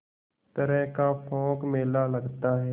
तरह का पोंख मेला लगता है